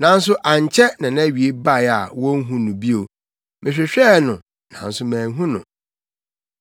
nanso ankyɛ na nʼawiei bae a wonhu no bio; mehwehwɛɛ no, nanso manhu no.